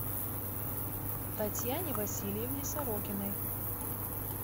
татьяне васильевне сорокиной